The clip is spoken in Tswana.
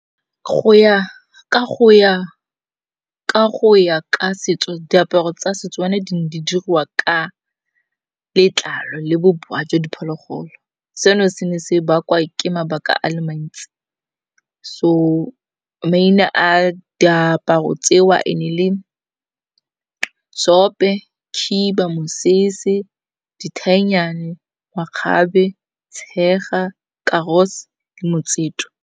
Ka go ya ka setso diaparo tsa setswana di ne di dirwa ka letlalo le bobowa jo diphologolo. Seno se ne se bakwa ke mabaka a le mantsi, so maina a diaparo tseo and e le seope, khiba, mosese, dithainyane, makgabe, tshega, karos, motseto.